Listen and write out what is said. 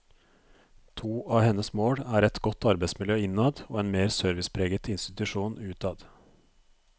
To av hennes mål er et godt arbeidsmiljø innad og en mer servicepreget institusjon utad.